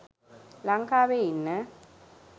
ලංකාවේ ඉන්න